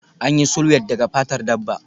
An yi sulwed daga fatar dabba